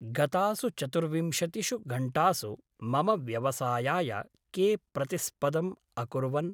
गतासु चतुर्विंशतिषु घण्टासु मम व्यवसायाय के प्रतिस्पदम् अकुर्वन्?